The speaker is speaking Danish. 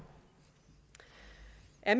af